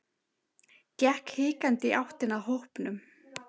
Gekk hikandi í áttina að hópnum.